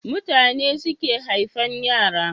Mutane suke haifan yara